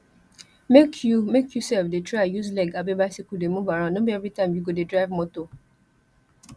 make you make you self dey try use leg abi bicycle dey move around no be everytime you go dey drive motor